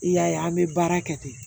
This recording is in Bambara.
I y'a ye an bɛ baara kɛ ten